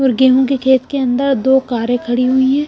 और गेहूं के खेत के अंदर दो कारें खड़ी हुई हैं।